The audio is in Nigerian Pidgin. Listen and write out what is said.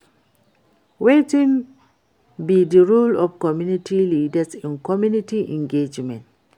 Wetin be di role of community leaders in community engagement?